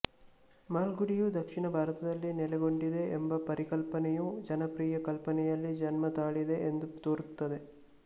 ಮಾಲ್ಗುಡಿಯು ದಕ್ಷಿಣ ಭಾರತದಲ್ಲಿ ನೆಲೆಗೊಂಡಿದೆ ಎಂಬ ಪರಿಕಲ್ಪನೆಯು ಜನಪ್ರಿಯ ಕಲ್ಪನೆಯಲ್ಲಿ ಜನ್ಮತಾಳಿದೆ ಎಂದು ತೋರುತ್ತದೆ